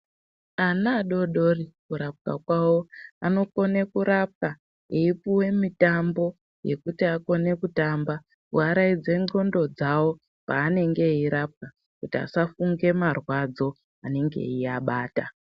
Ana adodori kurapwa kwavo anokone kurapwa achipuve mitambo yekuti akone kutamba kuvaraidze ndxondo dzavo paanenge eirapwa. Kuti asafunge marwadzo anenge aiabata.